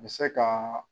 Bɛ se ka